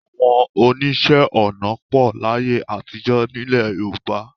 Àwọn oníṣẹ́-ọnà pọ̀ láyé àtijọ́ nílẹ̀ Yorùbá.